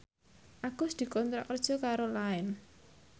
Agus dikontrak kerja karo Line